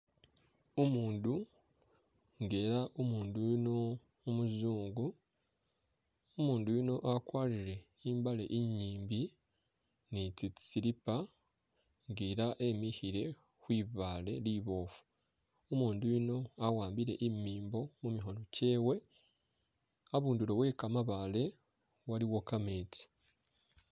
Umundu nga ela umundu yuno umuzungu umundu yuno akwalire i'mbaale i'nyimbi nitsi slipper nga ela wemikhile khwibaale liboofu umundu yuno wawambile imimbo mumikhoono kyewe, a'bundulo wekamabaale waliwo kameetsi